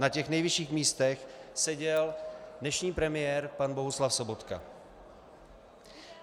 Na těch nejvyšších místech seděl dnešní premiér pan Bohuslav Sobotka.